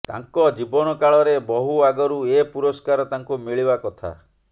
ତାଙ୍କ ଜୀବନକାଳରେ ବହୁ ଆଗରୁ ଏ ପୁରସ୍କାର ତାଙ୍କୁ ମିଳିବା କଥା